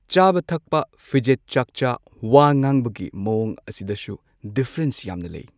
ꯆꯥꯕ ꯊꯛꯄ ꯐꯤꯖꯦꯠ ꯆꯥꯛꯆꯥ ꯋꯥ ꯉꯥꯡꯕꯒꯤ ꯃꯋꯣꯡ ꯑꯁꯤꯗꯁꯨ ꯗꯤꯐꯔꯦꯟꯁ ꯌꯥꯝꯅ ꯂꯩ꯫